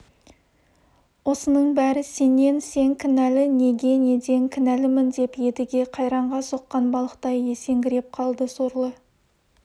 осының бәрі сенен сен кінәлі неге неден кінәлімін деп едіге қайраңға соққан балықтай есеңгіреп қалды сорлы